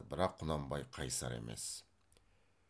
бірақ құнанбай қайысар емес